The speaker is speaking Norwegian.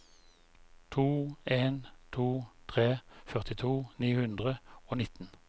to en to tre førtito ni hundre og nitten